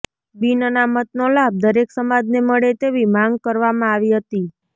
બિન અનામતનો લાભ દરેક સમાજને મળે તેવી માંગ કરવામાં આવી હતી